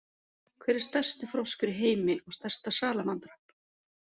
Hver er stærsti froskur í heimi og stærsta salamandran?